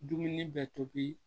Dumuni bɛ tobi